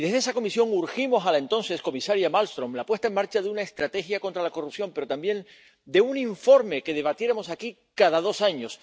Y desde esa comisión urgimos a la entonces comisaria Malmström la puesta en marcha de una estrategia contra la corrupción, pero también de un informe que debatiéramos aquí cada dos años.